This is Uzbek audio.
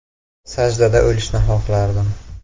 “Sajdada o‘lishni xohlardim”.